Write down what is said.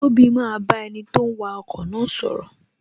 Tobi maa ba enito ń wa ọkọ̀ na sọ̀rọ̀